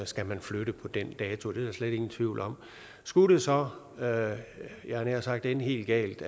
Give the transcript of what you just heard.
skal man flytte på den dato det er der slet ingen tvivl om skulle det så jeg havde nær sagt ende helt galt